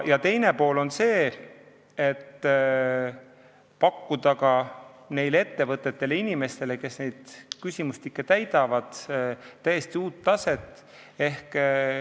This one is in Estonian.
Teine pool on see, et saab pakkuda ka neile ettevõtetele ja inimestele, kes neid küsimustikke täidavad, täiesti uut taset.